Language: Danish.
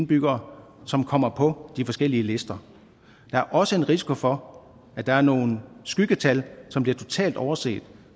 beboere som kommer på de forskellige lister der er også en risiko for at der er nogle skyggetal som bliver totalt overset